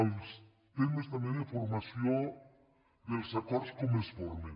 els temes també de formació dels acords com es formen